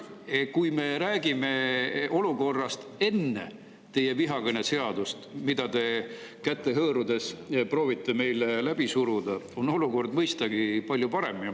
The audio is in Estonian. Jah, kui me räägime olukorrast enne vihakõne seadust, mida te käsi hõõrudes proovite meil läbi suruda – see olukord on mõistagi palju parem.